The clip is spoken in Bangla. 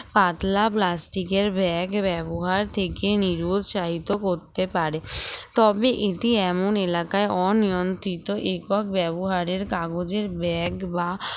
পাতলা plastic এর bag ব্যবহার থেকে নিরুৎসাহিত করতে পারে তবে এটি এমন এলাকায় অনিয়ন্ত্রিত একক ব্যবহারের কাগজের bag বা